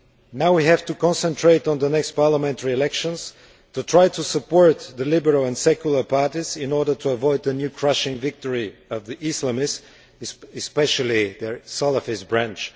Now we have to concentrate on the next parliamentary elections, to try to support the liberal and secular parties in order to avoid a new crushing victory by the Islamists, especially their Salafist branch.